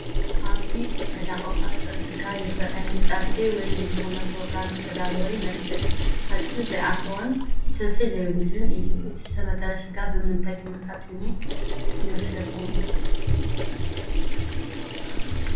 ኣብዚ ዝተዳቐቐ ጥረ ስጋ ይረአ፡፡ ንፀብሒ ወይ ንዝኾነ ኘሮግራም ዝተዳለወ ይመስል፡፡ ዓፅሚ ዘይኣተዎን ስብሒ ዘይብሉን እዩ፡፡ እቲ ዝተመተረ ስጋ ብምንታይ ተጣሒኑ ይመስለኩም?